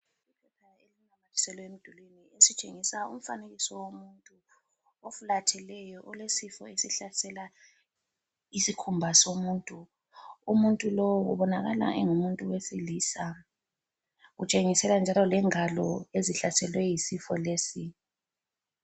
Esinanyathiselwe emdulini sitshengisa umfanekiso womuntu ofulatheleyo olesifo esihlasela isikhumba somuntu. Umuntu lo ubonakala engumuntu wesilisa. Kutshengisela njalo lengalo ezihlaselwe yisifo lesi.